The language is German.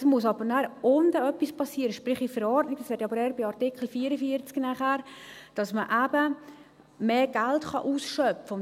» Es muss aber nachher unten etwas passieren, sprich in der Verordnung, das wäre aber eher nachher, bei Artikel 44, dass man eben mehr Geld ausschöpfen kann.